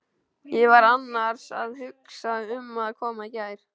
Ég var annars að hugsa um að koma í gær.